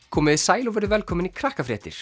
komiði sæl og verið velkomin í